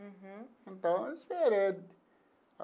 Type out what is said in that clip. Uhum. Então, eu esperei.